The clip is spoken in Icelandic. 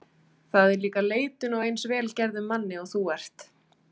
Það er líka leitun á eins vel gerðum manni og þú ert.